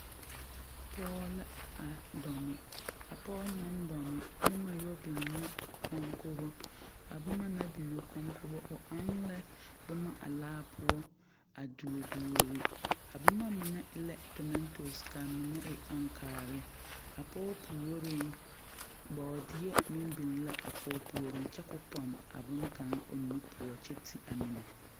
Pɔgɔ la a dome. A pɔgɔ na dome, boma yoɔ biŋ na o konkogo. A boma na biŋ o konkogo, o eŋ la boma a laa poʊ. A duo duore. A boma mene e la tometos ka a mene e ankaare. A pɔgɔ pooreŋ, boodie meŋ biŋ la a pɔgɔ pooreŋ kyɛ k'o ponne a boŋ kang o nu poʊ kyɛ te a mene.